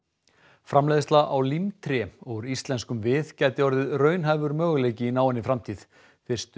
framleiðsla á úr íslenskum við gæti orðið raunhæfur möguleiki í náinni framtíð fyrstu